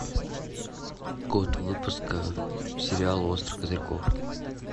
год выпуска сериала острых козырьков